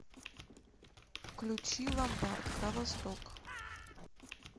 включи ломбард кровосток